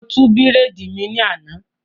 Mo tú bírèèdì mi ní àná